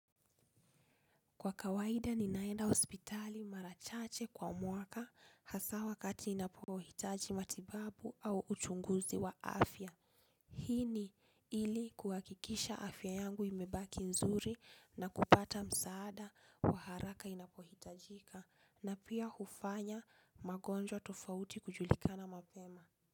Kwa kawaida ninaenda hospitali mara chache kwa mwaka hasa wakati ninapohitaji matibabu au uchunguzi wa afya. Hii ni ili kuhakikisha afya yangu imebaki nzuri na kupata msaada wa haraka inapohitajika na pia hufanya magonjwa tofauti kujulikana mapema.